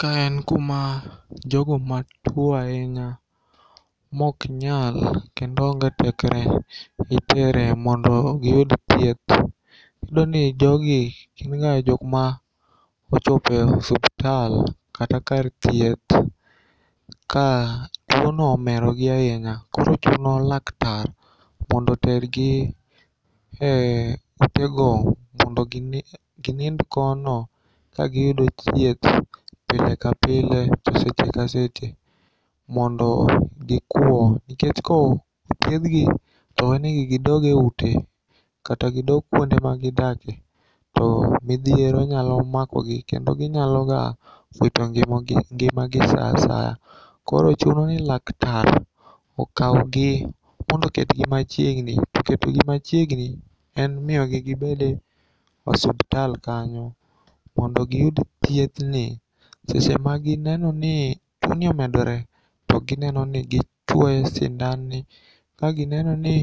Ka en kuma jogo matuo ainya moknyal kendo onge tekre itere mondo giyud thieth. Iyudoni jogi ginga jokma ochopo e osuptal kata kar thieth ka tuono omerogi ainya koro chuno laktar mondo otergi e utego mondo ginind kono kagiyudo thieth pile ka pile ka seche ka seche mondo gikuo nikech kothiedhgi towenegi gidoge ute kata gidog kuonde magidake to midhiero nyalo makogi kendo ginyaloga wito ngimagi saa asaya. Koro chunoni laktar okaugi mondo oketgi machiegni, to ketogi machiegni en miyogi gibede osuptal kanyo mondo giyud thiethni sechema ginenoni tuoni omedore to ginenoni gichuoyo sindanni ka ginenoni